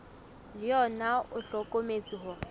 le ona o hlokometse hore